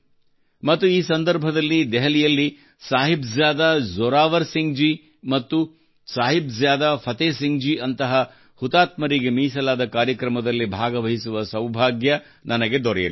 ಮತ್ತು ಈ ಸಂದರ್ಭದಲ್ಲಿ ದೆಹಲಿಯಲ್ಲಿ ಸಾಹಿಬ್ ಜಾದಾ ಜೋರಾವರ್ ಸಿಂಗ್ ಜಿ ಮತ್ತು ಸಾಹಿಬ್ ಜಾದಾ ಫತೇ ಸಿಂಗ್ ಜಿ ಯಂತಹ ಹುತಾತ್ಮರಿಗೆ ಮೀಸಲಾದ ಕಾರ್ಯಕ್ರಮದಲ್ಲಿ ಭಾಗವಹಿಸುವ ಸೌಭಾಗ್ಯ ನನಗೆ ದೊರೆಯಲಿದೆ